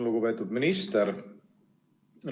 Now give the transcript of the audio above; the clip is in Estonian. Lugupeetud minister!